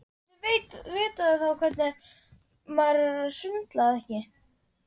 Hversvegna heldurðu að ég sé að tala við þig.